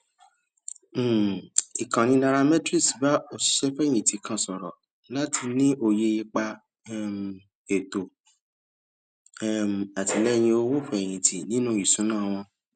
um ìkànnì nairametrics bá òṣìṣẹfẹyìntì kan sọrọ láti ní òye ipa um ètò um àtìlẹyìn owófẹyìntì nínú ìṣúná wọn